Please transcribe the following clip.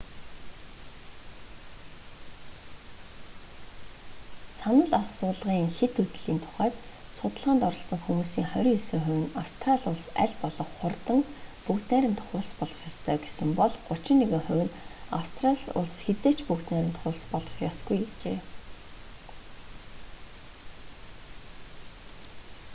санал асуулгын хэт үзлийн тухайд судалгаанд оролцсон хүмүүсийн 29 хувь нь австрали улс аль болох хурдан бүгд найрамдах улс болох ёстой гэсэн бол 31 хувь нь австрали улс хэзээ ч бүгд найрамдах улс болох ёсгүй гэжээ